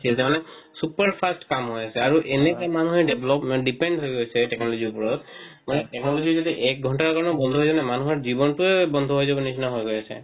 তাৰমানে super fast কাম হয় আছে আৰু এনেকে মানুহে develop dependent হয় গৈছে মানে technology ৰ উপৰত মানে technology যদি এক ঘন্টাৰ কাৰনে বন্ধ হই যায় না মানুহৰ জীৱন টোয়ে বন্ধ হই যাৱ নিচিনা হই গৈ আছে